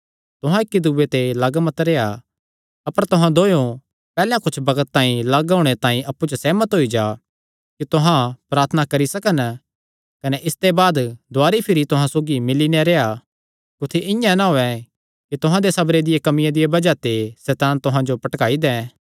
तुहां इक्की दूये ते लग्ग मत रेह्आ अपर तुहां दोयो पैहल्लैं कुच्छ बग्त तांई लग्ग होणे तांई अप्पु च सेहमत होई जा कि तुहां प्रार्थना करी सकन कने इसते बाद दुवारी भिरी तुहां सौगी मिल्ली नैं रेह्आ कुत्थी इआं ना होयैं कि तुहां दे सबरे दिया कमिया दिया बज़ाह ते सैतान तुहां जो भटकाई दैं